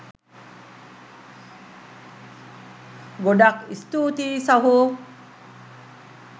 ගොඩක් ස්තූතියි සහෝ